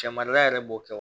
Cɛ marala yɛrɛ b'o kɛ